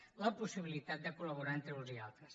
a la possibilitat de col·laborar entre uns i altres